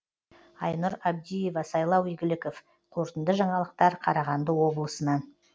айнұр абдиева сайлау игіліков қорытынды жаңалықтар қарағанды облысынан